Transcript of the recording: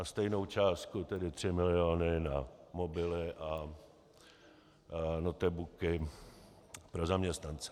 A stejnou částku, tedy tři miliony, na mobily a notebooky pro zaměstnance.